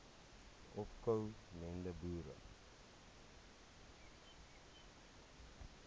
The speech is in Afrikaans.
opko mende boere